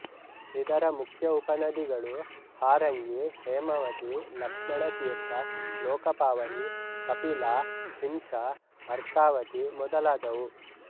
ಇದರ ಮುಖ್ಯ ಉಪನದಿಗಳು ಹಾರಂಗಿ ಹೇಮಾವತಿ ಲಕ್ಷ್ಮಣತೀರ್ಥ ಲೋಕಪಾವನಿ ಕಪಿಲಾ ಶಿಂಷಾ ಅರ್ಕಾವತಿ ಮೊದಲಾದವು